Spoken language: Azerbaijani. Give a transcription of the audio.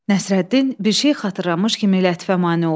Nəsrəddin bir şey xatırlamış kimi Lətifə mane oldu.